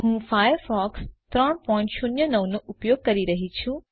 હું ફાયરફોક્સ 309 નો ઉપયોગ કરું છું